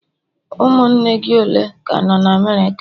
Ụmụnne gị ole ka nọ na America?